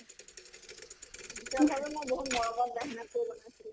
তেওঁ ভাবে মই বহুত মৰমত মেহনত কৰি বনাইছিলো।